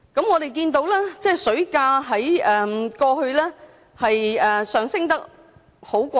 我們看到水價在過去上升得很快。